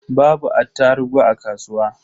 Babu attarugu a kasuwa.